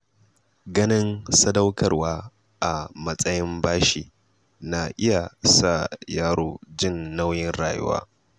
Ganin sadaukarwa a matsayin bashi na iya sa yaro jin nauyin rayuwa.